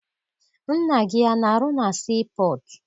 Nna gị ana arụ na sii pọtụ?